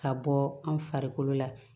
Ka bɔ an farikolo la